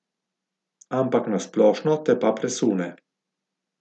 Ampak na splošno te pa presune.